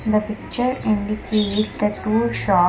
The picture indicates the two sho --